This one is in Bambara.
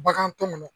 Bagan tɔ nunnu